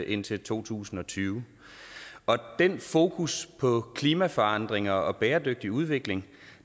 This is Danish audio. indtil to tusind og tyve og den fokus på klimaforandringer og bæredygtig udvikling